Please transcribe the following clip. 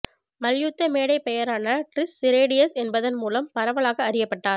மல்யுத்த மேடைப் பெயரான டிரிஷ் சிரேடியஸ் என்பதன் மூலம் பரவலாக அரியப்பட்டார்